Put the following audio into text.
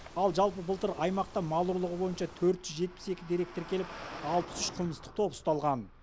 ал жалпы былтыр аймақта мал ұрлығы бойыншы төрт жүз жетпіс екі дерек тіркеліп алпыс үш қылмыстық топ ұсталған